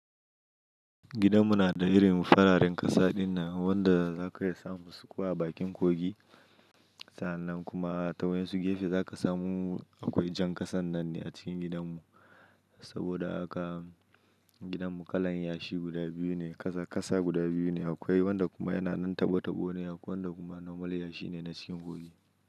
Gidan mu na da irin fararen kasa dinnan wanda za ka iya samun su ko a bakin kogi. Sa'annan kuma ta wa'yan su gefe za ka samu akwai jan kasan nan ne a cikin gidan mu. Saboda haka gidan mu kalan yashi guda biyu ne, kasa, kasa guda biyu ne akwai wanda kuma yana nan tabo-tabo ne akwai wanda kuma normal yashi ne na cikin kogi.